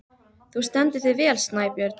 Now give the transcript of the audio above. Þú stendur þig vel, Snæbjörn!